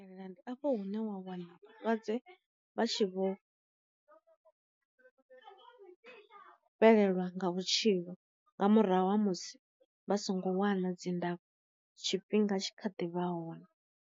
Fhelela ndi afho hune wa wana lwadze vha tshi vho fhelelwa nga vhutshilo nga murahu ha musi vha songo wana dzi ndafho tshifhinga tshi kha ḓivha hone.